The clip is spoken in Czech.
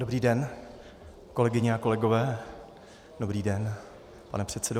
Dobrý den, kolegyně a kolegové, dobrý den, pane předsedo.